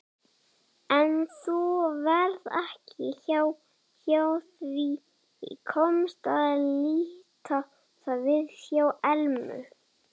En nú varð ekki hjá því komist að líta við hjá Elmu.